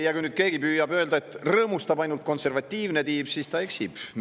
Ja kui nüüd keegi püüab öelda, et rõõmustab ainult konservatiivne tiib, siis ta eksib.